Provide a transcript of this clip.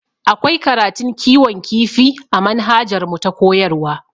Akwai karatun kiwon kifi a manhajarmu ta koyarwa